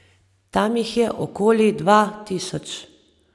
Tam jih je okoli dva tisoč.